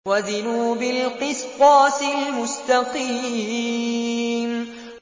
وَزِنُوا بِالْقِسْطَاسِ الْمُسْتَقِيمِ